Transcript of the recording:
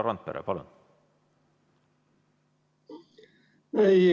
Härra Randpere, palun!